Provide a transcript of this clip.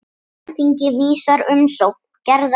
Alþingi vísar umsókn Gerðar frá.